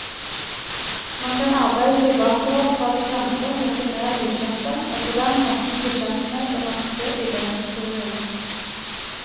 Man kan arbeide seg bakover fra det kjente mot det mer ukjente, og på den måten bli kjent med den norske idéhistorien.